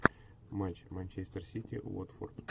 матч манчестер сити уотфорд